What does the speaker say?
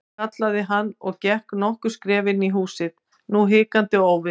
kallaði hann og gekk nokkur skref inn í húsið, nú hikandi og óviss.